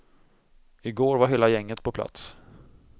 I går var hela gänget på plats.